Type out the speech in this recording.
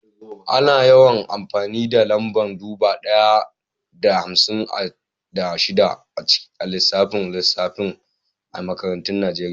Ana yawan amfani da lamba dubu ɗaya da hamsin da shida a lissafin lissafi a makarantun Najeriya.